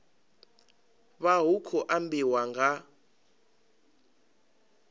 vha hu khou ambiwa nga